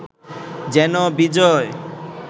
যেন বিজয়